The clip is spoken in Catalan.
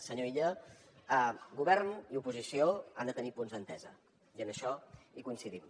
senyor illa govern i oposició han de tenir punts d’entesa i en això coincidim